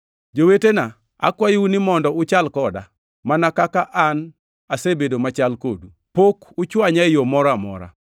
Jowetena, akwayou ni mondo uchal koda, mana kaka an asebedo machal kodu. Pok uchwanya e yo moro amora.